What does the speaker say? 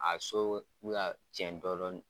A so k'u ya cɛn dɔ dɔɔni